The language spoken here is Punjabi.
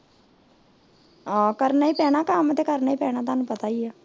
ਆਹ ਕਰਨਾ ਈ ਪੈਣਾ ਏ ਕੱਮ ਤੁਹਾਨੂੰ ਪਤਾ ਈ ਏ